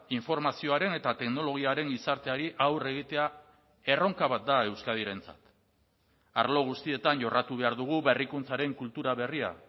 informazioaren eta teknologiaren gizarteari aurre egitea erronka bat da euskadirentzat arlo guztietan jorratu behar dugu berrikuntzaren kultura berria